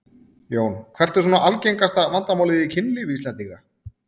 Jón: Hvert er svona algengasta vandamálið í kynlífi Íslendinga?